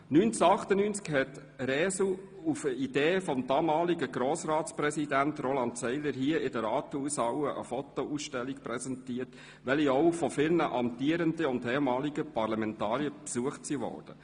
1998 präsentierte Resu, auf eine Idee des damaligen Grossratspräsidenten Roland Seiler hin, hier in der Rathaushalle eine Fotoausstellung, welche auch von vielen amtierenden und ehemaligen Parlamentariern besucht wurde.